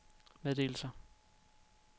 meddelelser